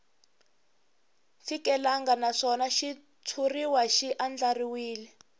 fikelelangi naswona xitshuriwa xi andlariwile